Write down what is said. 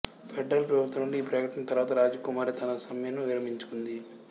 federal ప్రభుత్వం నుండి ఈ ప్రకటన తర్వాత రాజకుమారి తన సమ్మెను విరమించుకుంది